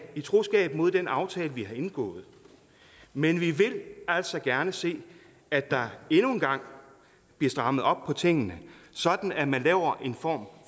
i troskab mod den aftale vi har indgået men vi vil altså gerne se at der endnu en gang bliver strammet op på tingene sådan at man laver en form